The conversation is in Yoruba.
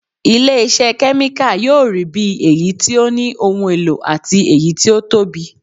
Ilé iṣẹ́ kẹ́míkà yóò rí bí èyí tí ó ní ohun èlò àti èyí tí ó tóbi